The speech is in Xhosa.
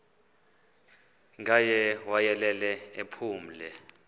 ngaye wayelele ephumle